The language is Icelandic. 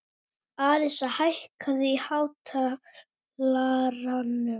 Arisa, hækkaðu í hátalaranum.